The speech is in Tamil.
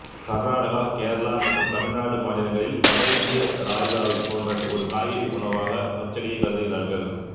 கர்நாடகா கேரளா மற்றும் தமிழ்நாடு மாநிலங்களில் வட இந்திய ராய்தாவைப் போன்ற ஒரு காய்கறி உணவாக பச்சடியை கருதுகிறார்கள்